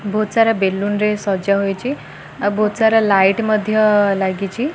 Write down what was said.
ବହୁତ ସାରା ବେଲୁନରେ ସଜା ହୋଇଚି ବହୁତ୍ ସାରା ଲାଇଟ ମଧ୍ୟ ଲାଗିଚି।